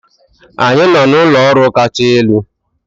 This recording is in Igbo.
Anyị nọ n'ụlọ ọrụ kacha elu.